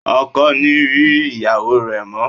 O kò ní rí ìyáwó rẹ mọ́.